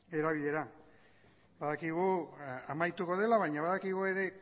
erabilera badakigu amaituko dela baina badakigu ere